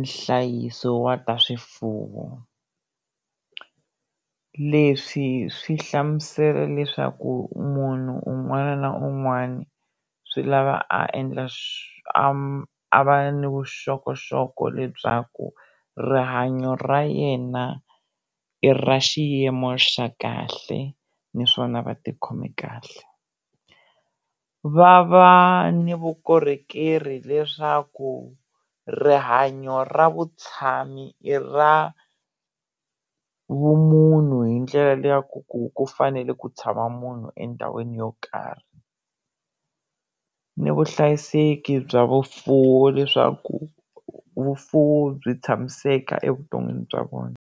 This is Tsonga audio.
nhlayiso wa ta swifuwo, leswi swi hlamusela leswaku munhu un'wana na un'wana swi lava a endla a a va ni vuxokoxoko bya lebyaku rihanyo ra yena i ra xiyimo xa kahle naswona va ti khomi kahle, va va ni vukorhokeri leswaku rihanyo ra vutshami i ra vumunhu hi ndlela liya ya ku ku ku fanele ku tshama munhu endhawini yo karhi, ni vuhlayiseki bya vufuwi leswaku vufuwi byi tshamiseka evuton'wini bya vona.